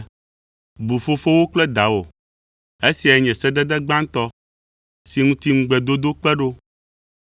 “Bu fofowò kple dawò,” esiae nye sedede gbãtɔ si ŋuti ŋugbedodo kpe ɖo,